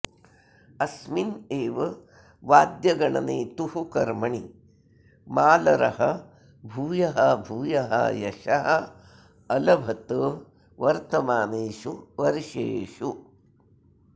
अस्मिन् एव वाद्यगणनेतुः कर्मणि मालरः भूयः भूयः यशः अलभत वर्तमानेषु वर्षेषु